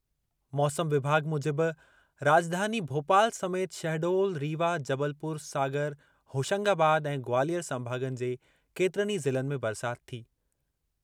मौसम विभाॻु मूजिबि राॼधानी भोपाल समेति शहडोल, रीवा, जबलपुर, सागर, होशंगाबाद ऐं ग्वालियर संभाॻनि जे केतिरनि ई ज़िलनि में बरसाति थी।